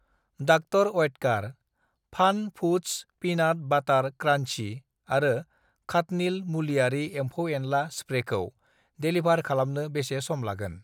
Doctor Oetker fun foods peanut butter crunchy आरो खाटनिल मुलियारि एमफौ-एनला स्प्रेखौ डेलिभार खालामनो बेसे सम लागोन?